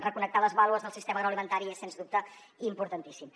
reconnectar les baules del sistema agroalimentari és sens dubte importantíssim